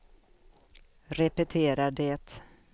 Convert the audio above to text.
repetera det